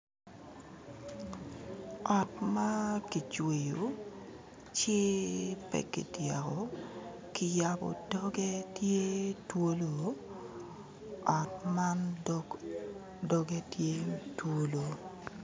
Ot ma kicweyo ci pe kityeko ki yabo doge tye twolo ot man dog dogge tye twolo.